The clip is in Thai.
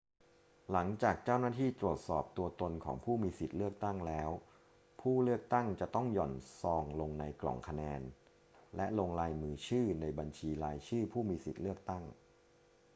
หลังจากเจ้าหน้าที่ตรวจสอบตัวตนของผู้มีสิทธิ์เลือกตั้งแล้ว ผู้เลือกตั้งจะต้องหย่อนซองลงในกล่องคะแนนและลงลายมือชื่อในบัญชีรายชื่อผู้มีสิทธิ์เลือกตั้ง